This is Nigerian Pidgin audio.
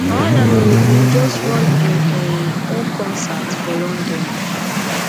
ohanaemere bin just run im um own concert for london